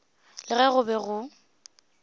le ge go be go